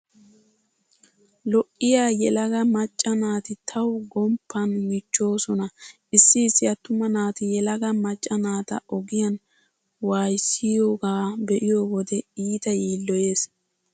Lo'iya yelaga macca naati tawu gomppan michchoosona. Issi issi attuma naati yelaga macca naata ogiyan wayssiyogaa be'iyo wode iita yiilloyees.